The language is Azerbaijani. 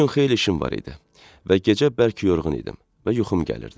O gün xeyli işim var idi və gecə bərk yorğun idim və yuxum gəlirdi.